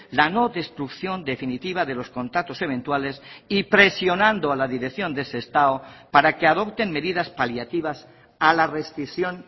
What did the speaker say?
la no destrucción definitiva de los contratos eventuales y presionando a la dirección de sestao para que adopten medidas paliativas a la rescisión